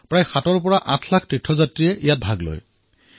প্ৰায় ৭৮ লাখ ৱাৰকৰী ইয়াত অন্তৰ্ভুক্ত হয়